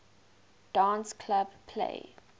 dance club play